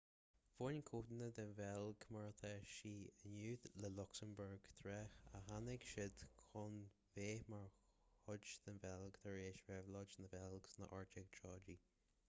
bhain codanna den bheilg mar atá sí inniu le luxembourg tráth ach tháinig siad chun bheith mar chuid den bheilg tar éis réabhlóid na beilge sna 1830í